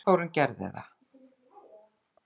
Gunnþórunn gerði það.